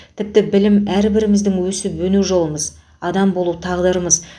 тіпті білім әрбіріміздің өсіп өну жолымыз адам болу тағдырымыз